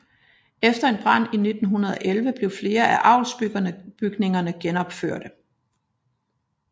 Efter en brand i 1911 blev flere af avlsbygningerne genopførte